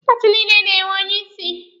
Paati niile na-enwe onye isi.